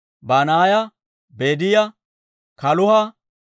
Banaaya, Bediyaa, Kaluuha,